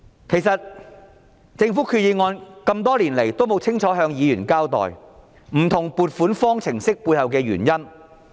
其實，政府決議案多年來也沒有清楚向議員交代，不同撥款方程式背後的原因。